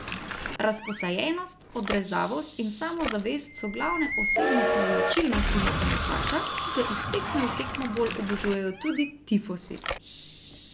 Razposajenost, odrezavost in samozavest so glavne osebnostne značilnosti nogometaša, ki ga iz tekme v tekmo bolj obožujejo tudi tifosi.